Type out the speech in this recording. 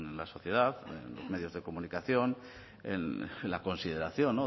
la sociedad en los medios de comunicación en la consideración